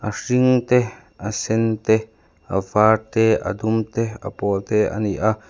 a hring te a sen te a var te a dum te a pawl te ani a.